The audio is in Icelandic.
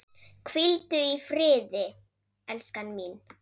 Hvíldu í friði, elskan mín.